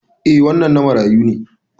Eh, wannan na marayu.